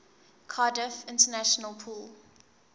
cardiff international pool